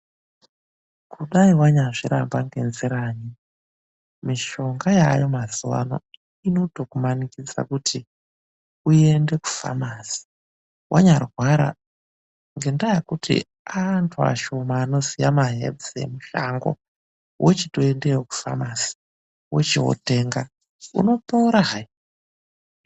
Kudai wanyazviramba ngenjiranyi, Mishonga yaayo mazuva ano inotokumanikidza kuti uyende kufamasi. Wanyarwara ngendaa yekuti aanthu ashomani anoziye mahebhusi emushango wochiteendayo kufamasi, unopora hai.